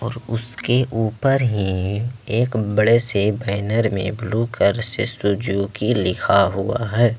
उसके ऊपर ही एक बड़े से बैनर में ब्लू कलर से सुजुकी लिखा हुआ है।